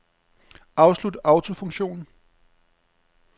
Afslut autofunktion.